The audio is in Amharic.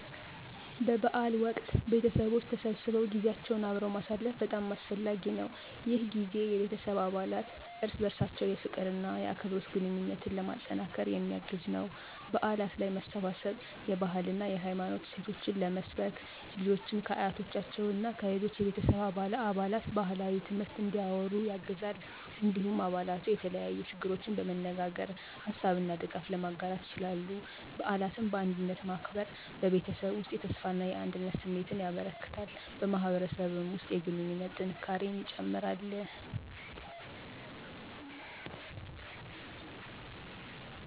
በበዓል ወቅት ቤተሰቦች ተሰብስበው ጊዜያቸውን አብረው ማሳለፍ በጣም አስፈላጊ ነው። ይህ ጊዜ የቤተሰብ አባላት እርስ በርሳቸው የፍቅር እና የአክብሮት ግንኙነትን ለማጠናከር የሚያግዝ ነው። በዓላት ላይ መሰባሰብ የባህልና የሃይማኖት እሴቶችን ለመስበክ፣ ልጆችን ከአያቶቻቸው እና ከሌሎች ቤተሰብ አባላት ባህላዊ ትምህርት እንዲያወሩ ያግዛል። እንዲሁም አባላቱ የተለያዩ ችግሮችን በመነጋገር ሀሳብ እና ድጋፍ ለመጋራት ይችላሉ። በዓላትን በአንድነት ማክበር በቤተሰብ ውስጥ የተስፋና አንድነት ስሜትን ያበረክታል፣ በማህበረሰብም ውስጥ የግንኙነት ጥንካሬን ይጨምራል።